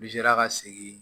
N'i sera ka segin